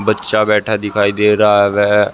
बच्चा बैठा दिखाई दे रहा है वह--